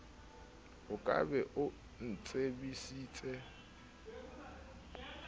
o ka be o ntsebisitse